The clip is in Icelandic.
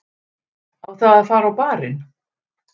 Á það að fara á barinn?